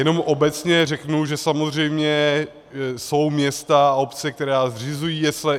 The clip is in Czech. Jenom obecně řeknu, že samozřejmě jsou města a obce, které zřizují jesle.